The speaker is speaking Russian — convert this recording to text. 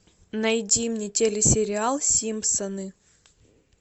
найди мне телесериал симпсоны